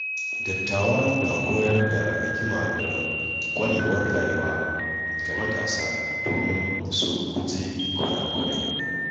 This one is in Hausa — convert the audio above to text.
Dattawa na koyar da hikima da ƙwarewar rayuwa ga matasa domin su guji kurakurai.